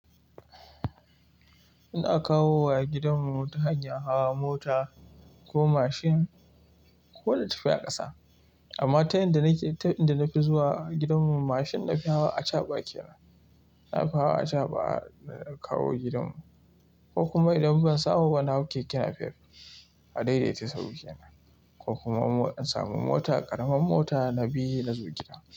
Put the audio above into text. Ina kawo wa gidanmu ta hanyar hawa mota, ko mashin, ko na tafi a ƙasa. Amma ta yanda nake, ta inda na fi zuwa gidanmu, mashin na fi hawa acaɓa kenan. Na fi hawa acaɓa, da na kawo gidanmu, ko kuma idan ban samu ba na hau keke napep, a daidaita sahu kenan, ko kuma in samu mota, ƙaraman mota na bi na zo gida.